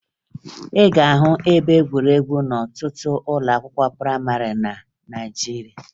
Ị ga-ahụ ebe egwuregwu n'ọtụtụ ụlọakwụkwọ prayịmarị na Naịjirịa